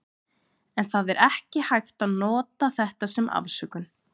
En það er ekki hægt að nota þetta sem afsökun.